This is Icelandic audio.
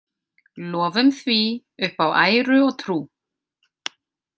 Lofum því, upp á æru og trú!